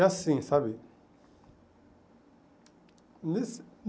É assim, sabe?